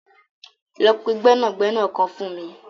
Lọ pẹ gbẹnagbẹna kan fun mi.